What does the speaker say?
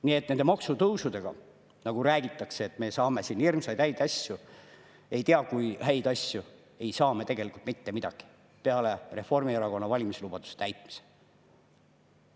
Nii et kuigi räägitakse, et nende maksutõusudega me saame siin hirmsaid häid asju, ei tea kui häid asju, ei saa me tegelikult mitte midagi peale Reformierakonna valimislubaduste täitmise.